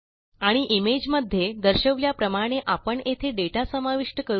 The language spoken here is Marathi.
आणि इमेज मध्ये दर्शवल्याप्रमाणे आपण येथे दाता समाविष्ट करू या